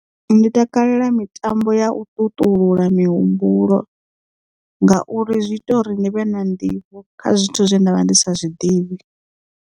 Ndi takalela mitambo ya u ṱuṱula mihumbulo ngauri zwi ita uri ni vhe na nḓivho kha zwithu zwe nda vha ndi sa zwiḓivhi.